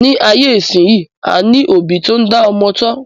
Ní ayé ìsínyi, a ní òbí tó n dá ọmọ tọ́